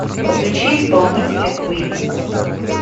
включи исполнителя квин